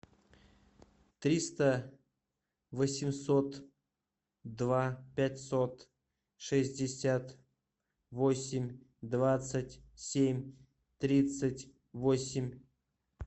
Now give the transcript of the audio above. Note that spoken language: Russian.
триста восемьсот два пятьсот шестьдесят восемь двадцать семь тридцать восемь